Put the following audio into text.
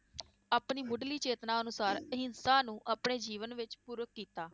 ਆਪਣੀ ਮੁੱਢਲੀ ਚੇਤਨਾ ਅਨੁਸਾਰ ਅਹਿੰਸਾ ਨੂੰ ਆਪਣੇ ਜੀਵਨ ਵਿਚ ਕੀਤਾ